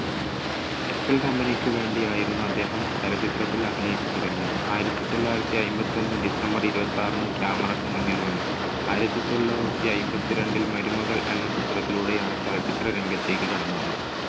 Excel company ക്കു വേണ്ടി ആയിരുന്നു അദ്ദേഹം ചലച്ചിത്രത്തിൽ അഭിനയിച്ച് തുടങ്ങിയത്. ആയിരത്തി തൊള്ളായിരത്തി അയ്മ്പത്തൊന്ന് December ഇരുപത്താറിന് camera ക്കു മുന്നിൽ വന്നു. ആയിരത്തി തൊള്ളായിരത്തി അയ്മ്പത്തിരണ്ടിൽ മരുമകൾ എന്ന ചിത്രത്തിലൂടെയാണ് ചലച്ചിത്രരംഗത്തേക്ക് കടന്നുവന്നത്.